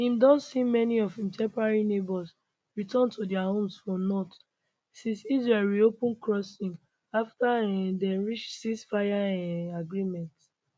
im don see many of im temporary neighbours return to dia homes for north since israel reopen crossings afta um dem reach ceasefire um agreement